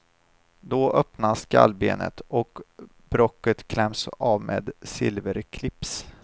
Då öppnas skallbenet och bråcket kläms av med silverclips.